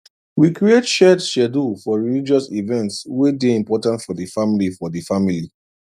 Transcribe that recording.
we create shared schedule for religious events way day important for the family for the family